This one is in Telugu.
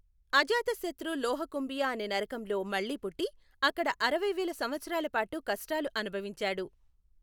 అజాతశత్రు లోహకుంభియా అనే నరకంలో మళ్ళీ పుట్టి, అక్కడ అరవై వేల సంవత్సరాల పాటు కష్టాలు అనుభవించాడు.